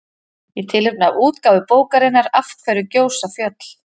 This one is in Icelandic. Í tilefni af útgáfu bókarinnar Af hverju gjósa fjöll?